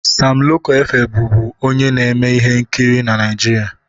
Sam Loko Efe bụfu onye na-eme ihe nkiri na Naịjirịa.